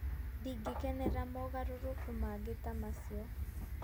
Ndingĩkenera mogarũrũku mangĩ ta macio".